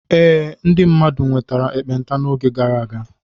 Ee, ndị mmadụ nwetara ekpenta n'oge gara aga.